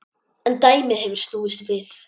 En dæmið hefur snúist við.